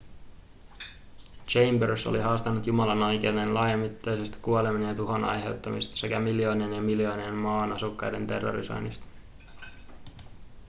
chambers oli haastanut jumalan oikeuteen laajamittaisesta kuolemien ja tuhon aiheuttamisesta sekä miljoonien ja miljoonien maan asukkaiden terrorisoinnista